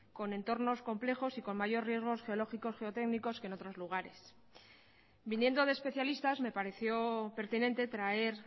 con entornos complejos y con mayor riesgos geológicos geotécnicos que en otros lugares viniendo de especialistas me pareció pertinente traer